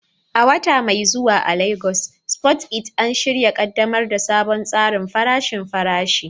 A wata mai zuwa a Legas, Spoon It An shirya ƙaddamar da sabon tsarin farashin farashi